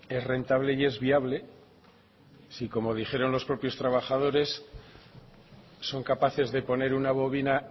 es rentable y es viable si como dijeron los propios trabajadores son capaces de poner una bovina